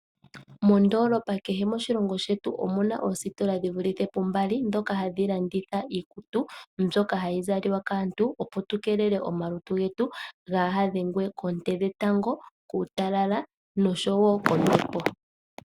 Moondolopa kehe moshilongo shetu omuna oositola dhivulithe pu mbali, ndhoka hadhi landitha iikutu mbyoka hayi zalwa kaantu opo twiikelele oonte dhetango, kuutalala nosho woo kombepo.